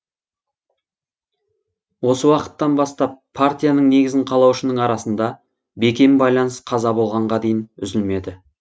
осы уақыттан бастап партияның негізін қалаушының арасында бекем байланыс қаза болғанға дейін үзілмеді